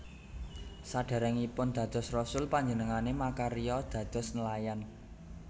Sadèrèngipun dados rasul panjenengané makarya dados nelayan